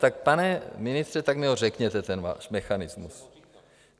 Tak pane ministře, tak mi ho řekněte, ten váš mechanismus.